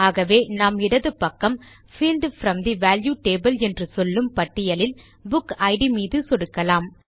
ஆகவே நாம் இடது பக்கம் field from the value table என்று சொல்லும் பட்டியலில் புக் இட் மீது சொடுக்கலாம்